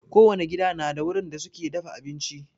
Kowane gida na da wurin da suke dafa abinci.